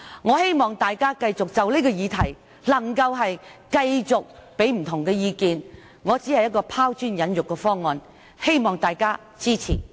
我希望大家就這項議題繼續給予不同意見，我只是提出拋磚引玉的方案，希望大家支持。